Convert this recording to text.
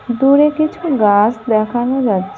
দূরে কিছু গাছ দেখানো যাচ্ছে।